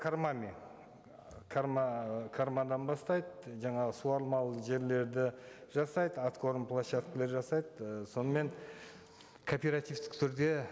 кормами бастайды жаңағы суармалы жерлерді жасайды откорм площадкелер жасайды ы сонымен кооперативтік түрде